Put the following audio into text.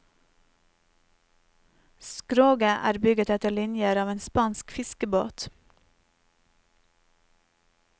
Skroget er bygget etter linjer av en spansk fiskebåt.